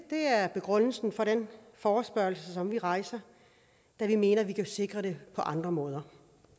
det er begrundelsen for den forespørgsel som vi rejser da vi mener vi kan sikre det på andre måder